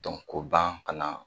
Dɔn k'o ban ka na